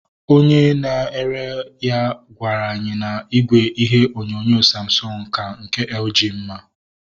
Onye na-ere ya gwaru anyị na igwe ihe onyonyo Samsung ka nke LG mma